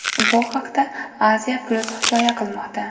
Bu haqda Asia-Plus hikoya qilmoqda .